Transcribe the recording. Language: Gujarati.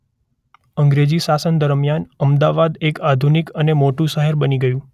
અંગ્રેજી શાસન દરમ્યાન અમદાવાદ એક આધુનિક અને મોટુ શહેર બની ગયું.